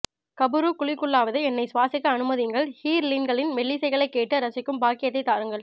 கபுறுக் குழிக்குள்ளாவது என்னை சுவாசிக்க அனுமதியுங்கள் ஹூர்லீன்களின் மெல்லிசைகளை கேட்டு ரசிக்கும் பாக்கியத்தைத் தாருங்கள்